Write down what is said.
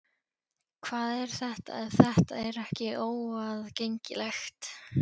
Hvað er þetta ef þetta er ekki óaðgengilegt?